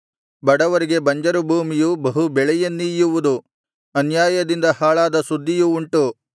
ಬಡವರಿಗೆ ಬಂಜರು ಭೂಮಿಯೂ ಬಹು ಬೆಳೆಯನ್ನೀಯುವುದು ಅನ್ಯಾಯದಿಂದ ಹಾಳಾದ ಸುದ್ದಿಯು ಉಂಟು